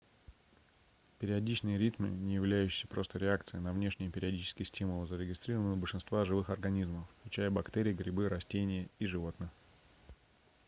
периодичные ритмы не являющиеся просто реакцией на внешние периодичные стимулы зарегистрированы у большинства живых организмов включая бактерии грибы растения и животных